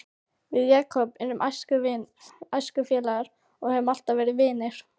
Við Jakob erum æskufélagar og höfum alltaf verið vinir.